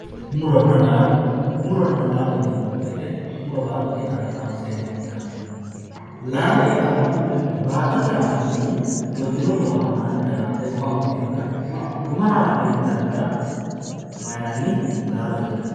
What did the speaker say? muronna laalo muronna laalo yineemmo wote muro baattote aana kaanseenna fultannote laalo yaa baattote aaninni fultino muro daraarte guma uyiiteenna guma haa'ne intannita mayiinanni? laalote yinanni.